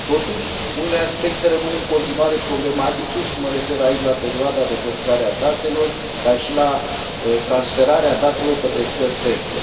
Totuși, unele aspecte rămân în continuare problematice, și mă refer aici la perioada de păstrare a datelor, dar și la transferarea datelor către țări terțe.